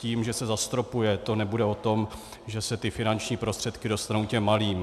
Tím, že se zastropuje, to nebude o tom, že se ty finanční prostředky dostanou těm malým.